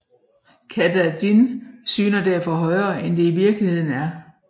Katahdin syner derfor højere end det i virkeligheden er